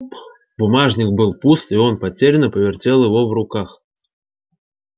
бумажник был пуст и он потерянно повертел его в руках